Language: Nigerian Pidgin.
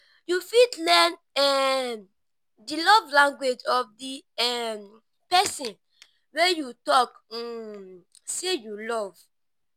you fit learn um di love language of di um perosn wey you talk um sey you love